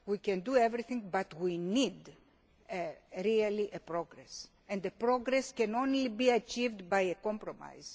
We can do everything but we need really progress, and progress can only be achieved by compromise.